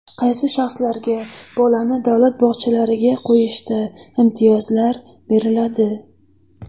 Qaysi shaxslarga bolani davlat bog‘chalariga qo‘yishda imtiyozlar beriladi?